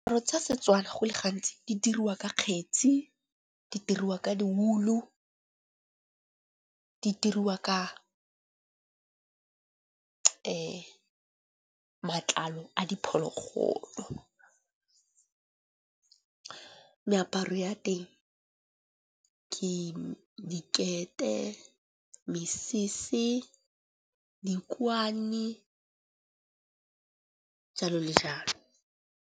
Tsa setswana go le gantsi di diriwa ka kgetsi, di diriwa ka di wool-o, di diriwa ka matlalo a diphologolo. Meaparo ya teng ke dikete, mesese, dikwane jalo le jalo.